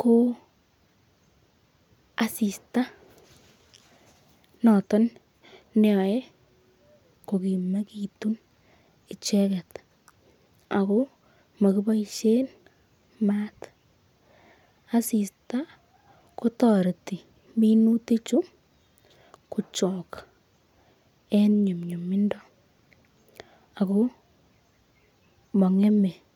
ko asista noton neyoe kogimegitun icheket ago mokiboishen maat. Asista kotoreti minutik chu kochok en nyumnyumindo ago mong'eme.